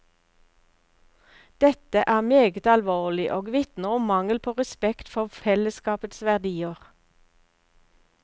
Dette er meget alvorlig og vitner om mangel på respekt for fellesskapets verdier.